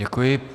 Děkuji.